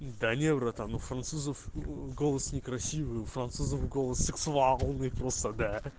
да не братан у французов голос некрасивый у французов голос сексуальный просто да